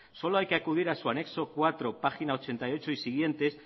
solo hay que acudir a su anexo cuatro página ochenta y ocho y siguientes